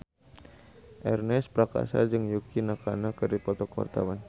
Ernest Prakasa jeung Yukie Nakama keur dipoto ku wartawan